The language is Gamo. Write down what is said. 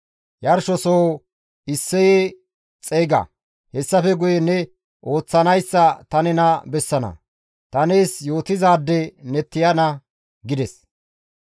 Yarshosoho Isseye xeyga; hessafe guye ne ooththanayssa ta nena bessana; ta nees yootizaade ne tiyana» gides.